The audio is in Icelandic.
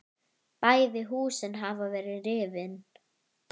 Bæði húsin hafa verið rifin.